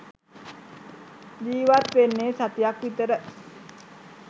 ජීවත් වෙන්නේ සතියක් විතර